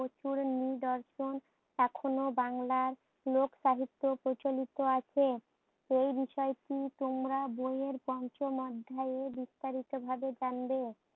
প্রচুর নিদর্শন এখন ও বাংলার লোক সাহিত্য প্রচলিত আছে। এই বিষয় টি তোমরা বই এর পঞ্চম অধ্যায়ে বিস্তারিত ভাবে জানবে।